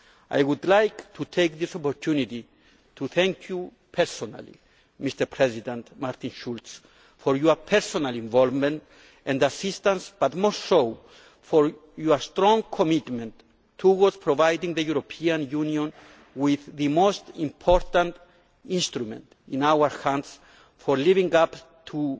I would like to take this opportunity to thank you personally, Mr President, for your personal involvement and assistance and, most of all, your strong commitment to providing the European Union with the most important instrument in our hands for living up